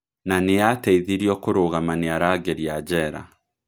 Na nĩ aateithirio kũrũgama nĩ arangĩri a njera.